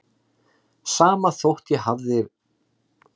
Sama þótt ég hafi ráðlagt þér að láta það eiga sig.